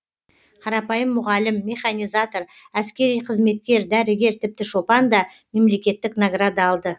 қарапайым мұғалім механизатор әскери қызметкер дәрігер тіпті шопан да мемлекеттік награда алды